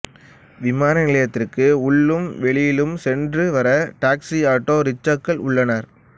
விமான நிலையத்திற்கு உள்ளும் வெளியிலும் சென்று வர டாக்சி ஆட்டோ ரிக்சாக்கள் உள்ளன